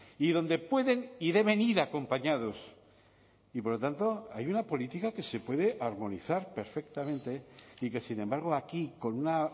y donde pueden y deben ir acompañados y por lo tanto hay una política que se puede armonizar perfectamente y que sin embargo aquí con una